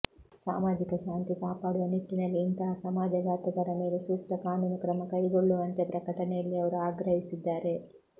ಸಾಮಾಜಿಕ ಶಾಂತಿ ಕಾಪಾಡುವ ನಿಟ್ಟಿನಲ್ಲಿ ಇಂತಹ ಸಮಾಜಘಾತುಕರ ಮೇಲೆ ಸೂಕ್ತ ಕಾನೂನು ಕ್ರಮ ಕೈಗೊಳ್ಳು ವಂತೆ ಪ್ರಕಟನೆಯಲ್ಲಿ ಅವರು ಆಗ್ರಹಿಸಿದ್ದಾರೆ